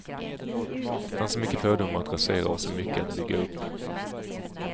Det fanns så många fördomar att rasera och så mycket att bygga upp.